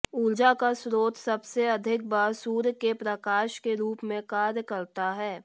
ऊर्जा का स्रोत सबसे अधिक बार सूर्य के प्रकाश के रूप में कार्य करता है